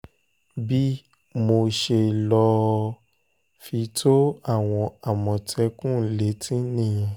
bí mo ṣe lọ fi tó àwọn àmọ̀tẹ́kùn létí nìyẹn